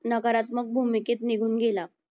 नकारात्मक भूमिकेत निघून गेला.